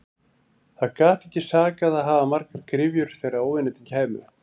Það gat ekki sakað að hafa margar gryfjur þegar óvinirnir kæmu.